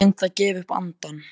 Ég finn það gefa upp andann.